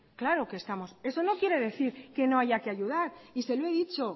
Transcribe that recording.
claro que estamos eso no quiere decir que no haya que ayudar y se lo he dicho